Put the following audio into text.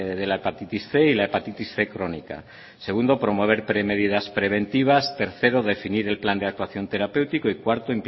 de la hepatitis cien y la hepatitis cien crónica segundo medidas preventivas tercero definir el plan de actuación terapéutico y cuarto